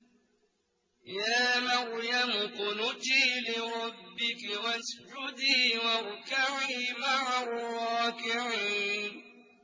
يَا مَرْيَمُ اقْنُتِي لِرَبِّكِ وَاسْجُدِي وَارْكَعِي مَعَ الرَّاكِعِينَ